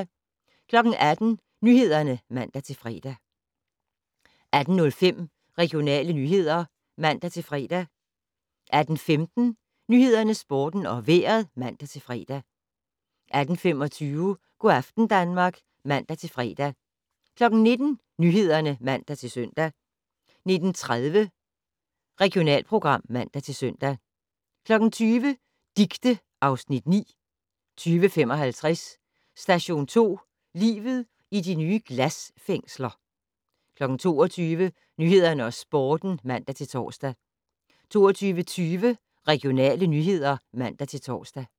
18:00: Nyhederne (man-fre) 18:05: Regionale nyheder (man-fre) 18:15: Nyhederne, Sporten og Vejret (man-fre) 18:25: Go' aften Danmark (man-fre) 19:00: Nyhederne (man-søn) 19:30: Regionalprogram (man-søn) 20:00: Dicte (Afs. 9) 20:55: Station 2: Livet i de nye glasfængsler 22:00: Nyhederne og Sporten (man-tor) 22:20: Regionale nyheder (man-tor)